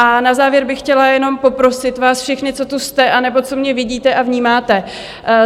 A na závěr bych chtěla jenom poprosit vás všechny, co tu jste, anebo co mě vidíte a vnímáte.